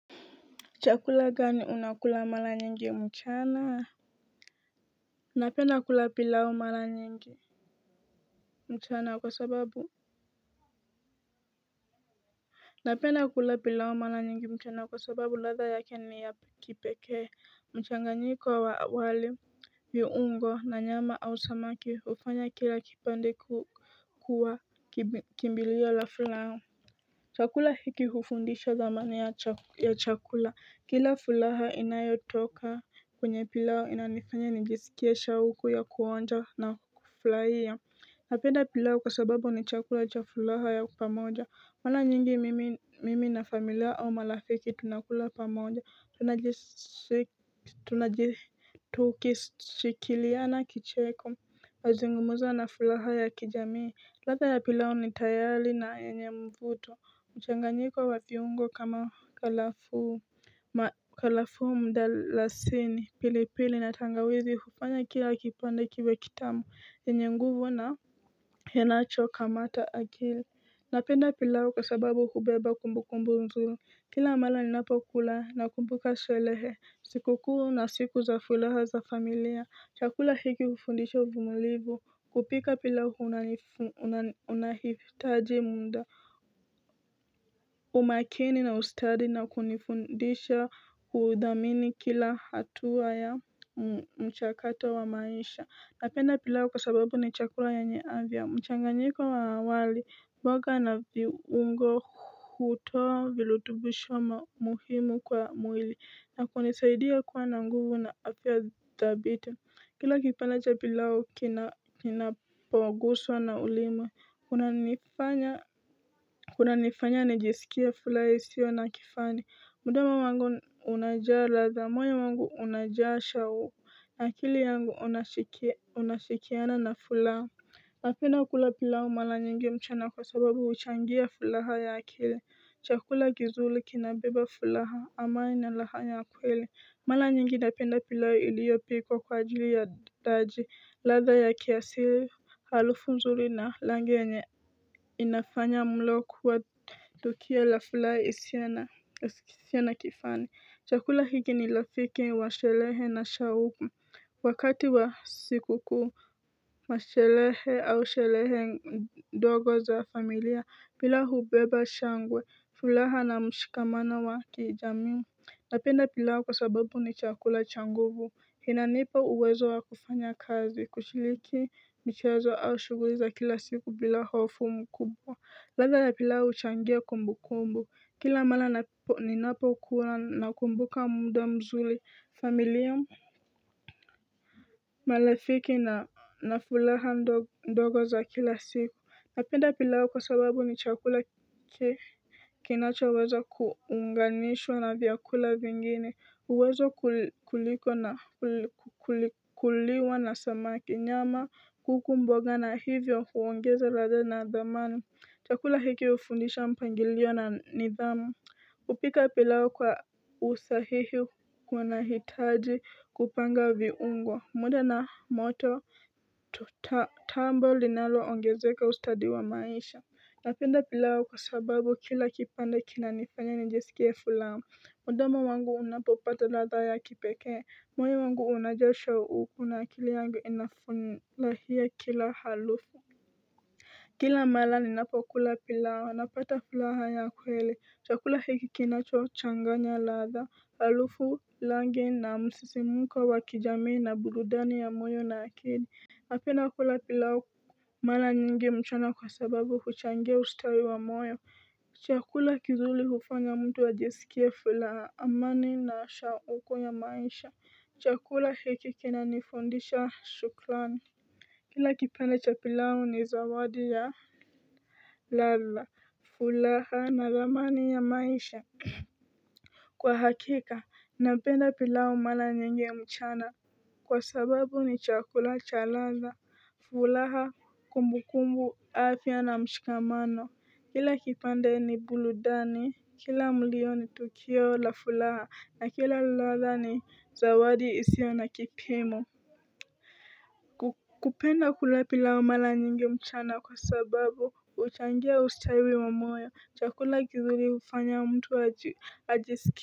Chakula gani unakula mara nyingi mchana Napenda kula pilao mara nyingi mchana kwa sababu Napena kula pilao mara nyingi mchana kwa sababu latha ya keni ya kipeke mchanganyika wa wali viungo na nyama au samaki ufanya kila kipandi kuwa kimbilia la fulao chakula hiki hufundisha zamani ya chakula Kila furaha inayotoka kwenye pilao inanifanya nijisikia shauku ya kuonja na kufurahia Napenda pilao kwa sababu ni chakula cha fulaha ya pamoja wana nyingi mimi na familia au malafiki tunakula pamoja Tunajitukishikiliana kicheko Azungumuza na fulaha ya kijamii ladha ya pilau ni tayari na yenye mvuto mchanganyiko wa viungo kama kalafu Makalafu mdalasini pili pili na tangawizi hufanya kia akipanda kiwe kitamu na yenye nguvu na henacho kamata akili Napenda pilawo kasababu hubeba kumbu kumbu nzulu Kila amala linapa kula na kumbuka silehe Sikukuru na siku za fulaha za familia chakula hiki kufundisha vumalivo kupika pilau unahitaji muda umakini na ustadi na kunifundisha huudamini kila hatua ya mchakato wa maisha Napenda pilao kwa sababu ni chakura ya nyeavya Mchanganyika wa awali mboga na viungo kutoa vilutubu shoma muhimu kwa mwili na kunisaidia kuwa na nguvu na apia dhabite Kila kipalaja pilao kina pangoswa na ulima kuna nifanya kuna nifanya nijisikia fulaha isio na kifani mudama wangu unajaa latha moe wangu unajaa shawu na kili yangu unashikiana na furaha na penda kula pilau mala nyingi mchana kwa sababu uchangia fulaha ya akili chakula gizuli kinabiba fulaha ama ina lahanya kwele mara nyingi napenda pilau iliyopikwa kwa ajili ya daji ladha ya kiasili harufu mzuri na langenye inafanya mlo kuwa Tukio la furaha isiyo na kifani chakula hiki ni rafiki wa sherehe na shauku Wakati wa siku kuwa shalehe au shalehe ndogo za familia bila hubeba shangwe fulaha na mshikamana wa kijami Napenda pila kwa sababu ni chakula changuvu Hina nipa uwezo wa kufanya kazi Kuchiliki mchezo au shuguriza kila siku bila hofu mku Lada ya pilawo uchangia kumbu kumbu, kila mala ni napo ukula na kumbuka muda mzuli, familia mu? Marafiki na nafuraha ndogo za kila siku, napenda pilau kwa sababu ni chakula kinachoweza kuunganishwa na vyakula vingine, uwezo kuliko na kukuliwa na samaki nyama kuku mboga na hivyo kuongeza radha na adamani. Chakula hiki hufundisha mpangilio na nidhamu Upika pilao kwa usahihi kuna hitaji kupanga viungwa muda na moto to tambo linaloongezeka ustadi wa maisha Napenda pilau kwa sababu kila kipande kila nifanya nijisikie furaha mdomo wangu unapopata ladha ya kipekee Mwai wangu unajosha ukuna kili yangu inafunlahia kila halufu kila mala ni napakula pilao na pata pilaha ya kwele chakula hiki kina chwa changanya latha halufu langi na msisi muka wa kijamii na burudani ya mwyo na akidi apina kula pilao mara nyingi mchana kwa sababu kuchangia ustawi wa moyo chakula kizuri hufanya mtu wa jisikia furaha amani na asha huko ya maisha chakula hiki kina nifundisha shukrani Kila kipenda cha pilawo ni zawadi ya ladha furaha na ramani ya maisha Kwa hakika, napenda pilau mara nyingi mchana Kwa sababu ni chakula cha ladha furaha kumbu kumbu afya na mshikamano Kila kipenda ni burudani Kila mulio ni tokio la fulaha na kila latha ni zawadi isio na kipimu kupenda kulapi laumala nyingi mchana kwa sababu uchangia usitariwe mamoya chakula gihuri hufanya mtu ajisiki.